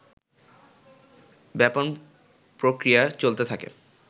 ব্যাপন প্রক্রিয়া চলতে থাকে